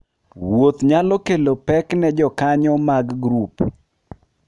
Wuoth nyalo kelo pek moko ne jokanyo mag grup.